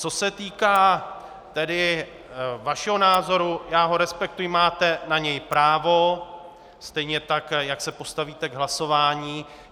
Co se týká vašeho názoru, já ho respektuji, máte na něj právo, stejně tak jak se postavíte k hlasování.